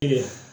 Kelen